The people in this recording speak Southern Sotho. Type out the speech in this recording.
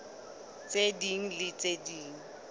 tse ding le tse ding